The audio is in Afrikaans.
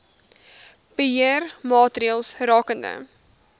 beheer maatreëls rakende